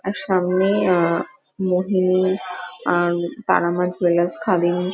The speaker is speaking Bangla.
আর সামনে আহ মোহিনী আর তারা মা জুয়েলার্স খাদিম--